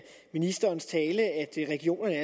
ministerens tale at regionerne